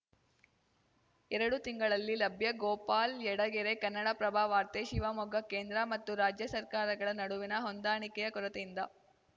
ಎರಡು ತಿಂಗಳಲ್ಲಿ ಲಭ್ಯ ಗೋಪಾಲ್‌ ಯಡಗೆರೆ ಕನ್ನಡಪ್ರಭ ವಾರ್ತೆ ಶಿವಮೊಗ್ಗ ಕೇಂದ್ರ ಮತ್ತು ರಾಜ್ಯ ಸರ್ಕಾರಗಳ ನಡುವಿನ ಹೊಂದಾಣಿಕೆಯ ಕೊರತೆಯಿಂದ